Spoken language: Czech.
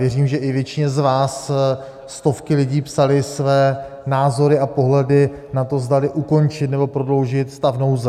Věřím, že i většině z vás stovky lidí psali své názory a pohled na to, zdali ukončit, nebo prodloužit stav nouze.